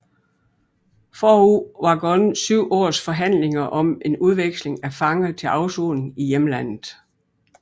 Forud var gået syv års forhandlinger om en udveksling af fanger til afsoning i hjemlandet